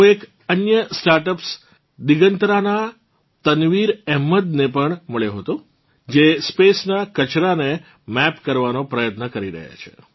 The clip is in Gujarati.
હું એક અન્ય સ્ટાર્ટઅપ્સ દિગંતરાનાં તનવીર અહેમદને પણ મળ્યો હતો જે સ્પેસ નાં કચરાંને મૈપ કરવાનો પ્રયત્ન કરી રહ્યાં છે